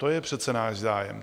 To je přece náš zájem.